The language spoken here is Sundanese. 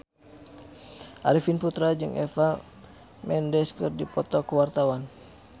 Arifin Putra jeung Eva Mendes keur dipoto ku wartawan